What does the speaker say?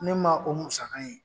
Ne ma o musaka ye